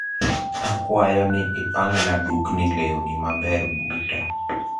Akwayo ni ipangna dukni lewni maber buta